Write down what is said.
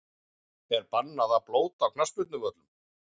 Er bannað að blóta á knattspyrnuvöllum?!